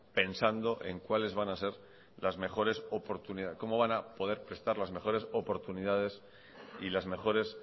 pensando en cuales van a ser las mejores oportunidades cómo van a poder prestar las mejores oportunidades y las mejores